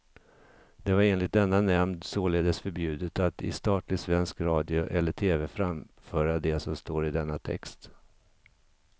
Det var enligt denna nämnd således förbjudet att i statlig svensk radio eller tv framföra det som står i denna text.